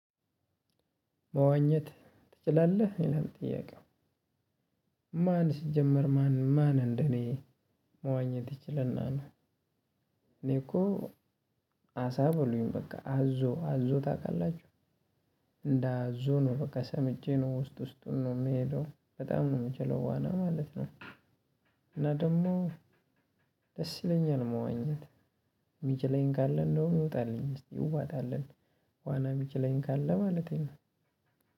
መዋኘት ትችላለህ? ይላል ጥያቄው ማን ሲጀመር ማን ማን እንደ እኔ መዋኘት ይችልና እኔ እኮ አሳ በሉኝ በቃ አዞ አዞ ታውቃላችሁ እንደ አዞ ነው በቃ ሰምጬ ነው ውስጥ ውስጡን ነው የምሄደው በጣም ነው የምችለው ዋና ማለት ነው እና ደግሞ ደስ ይለኛል መዋኘት የሚችለኝ ካለ እንደውም ይወጣልኝ እስቲ እዋጣለን ዋና የሚችለኝ ካለ ማለቴ ነው።